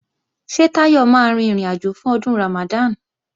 Ṣé Táyọ̀ máa rin ìrìnàjò fún Ọdún Ramadan?